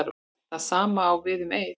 Það sama á við um Eið.